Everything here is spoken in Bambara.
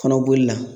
Kɔnɔboli la